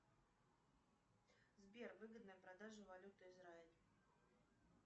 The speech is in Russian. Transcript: сбер выгодная продажа валюты израиль